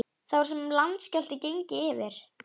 Það var sem landskjálfti gengi yfir.